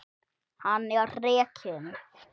Hann er rekinn.